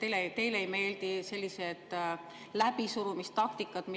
teile ei meeldi sellised läbisurumistaktikad.